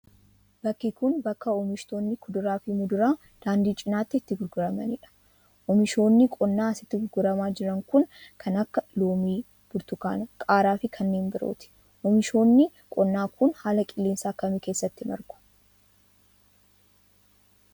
Bakki kun, bakka oomishtoonni kuduraa fi muduraa daandii cinaatti itti gurguramanii dha. Oomishoonni qonnaa asitti gurguramaa jiran kun kan akka; loomii, burtukaana, qaaraa fi kanneen birooti. Oomishoonni qonnaa kun, haala qilleensaa akkamii keessatti margu?